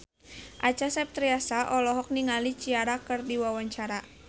Acha Septriasa olohok ningali Ciara keur diwawancara